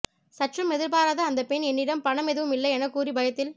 சற்றும் எதிர்பாராத அந்த பெண் என்னிடம் பணம் எதுவும் இல்லை என கூறி பயத்தில்